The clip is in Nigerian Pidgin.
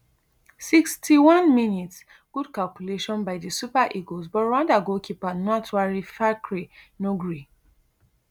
sixty-one mins good calculation by di super eagles but rwanda goalkeeper ntwari fiacre no gree